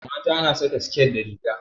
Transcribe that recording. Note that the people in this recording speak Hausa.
Mata na saƙa siket da riga.